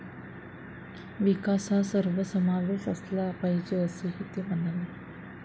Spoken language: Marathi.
विकास हा सर्वसमावेश असला पाहिजे असंही ते म्हणाले.